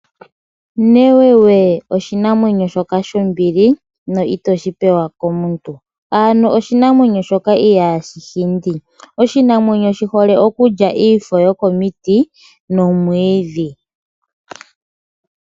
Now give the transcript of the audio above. Newewe oshinamwenyo shoka shombili no itoshi pewa komuntu ano oshinamwenyo shoka ihashi hindi. Oshinamwenyo shi hole okulya iifo yoko miti nomwiidhi.